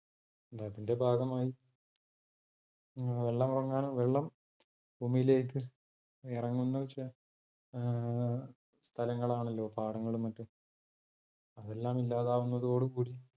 അതിന്റെ ഭാഗമായി വെള്ളമിറങ്ങാൻ വെള്ളം ഭൂമിയിലേക്ക് ഇറങ്ങുന്നത് വെച്ച ഏർ സ്ഥലങ്ങളാണല്ലോ പാടങ്ങളും മറ്റും. അതല്ലാം ഇല്ലാതാവുന്നതോടു കൂടി